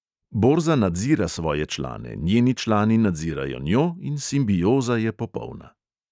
Borza nadzira svoje člane, njeni člani nadzirajo njo in simbioza je popolna.